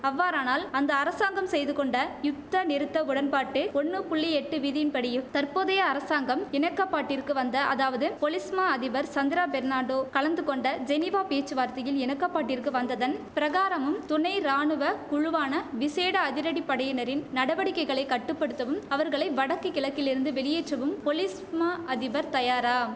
அவ்வாறானால் அந்த அரசாங்கம் செய்து கொண்ட யுத்த நிறுத்த உடன்பாட்டு ஒன்னு புள்ளி எட்டு விதியின் படியு தற்போதைய அரசாங்கம் இணக்கப்பாட்டிற்கு வந்த அதாவது பொலிஸ் மா அதிபர் சந்திரா பெர்னாண்டோ கலந்துகொண்ட ஜெனீவா பேச்சுவார்த்தையில் இணக்கப்பாட்டிற்கு வந்ததன் பிரகாரமும் துணை ராணுவ குழுவான விசேட அதிரடிப்படையினரின் நடவடிக்கைகளை கட்டு படுத்தவும் அவர்களை வடக்கு கிழக்கிலிருந்து வெளியேற்றவும் பொலிஸ் மா அதிபர் தயாரா